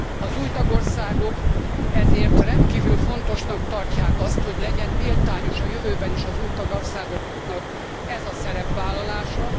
Az új tagországok ezért rendkívül fontosnak tartják azt, hogy legyen méltányos a jövőben is az új tagországoknak ez a szerepvállalása.